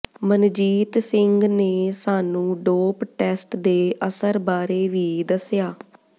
ਮਨਜੀਤ ਸਿੰਘ ਨੇ ਸਾਨੂੰ dope test ਦੇ ਅਸਰ ਬਾਰੇ ਵੀ ਦੱਸਿਆ